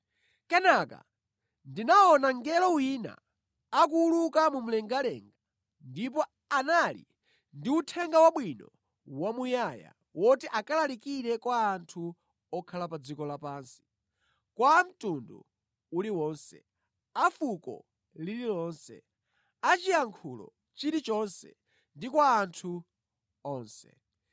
Kenaka ndinaona mngelo wina akuwuluka mu mlengalenga ndipo anali ndi Uthenga Wabwino wamuyaya woti akalalikire kwa anthu okhala pa dziko lapansi, kwa a mtundu uliwonse, a fuko lililonse, a chiyankhulo chilichonse ndi kwa anthu onse.